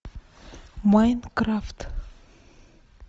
майнкрафт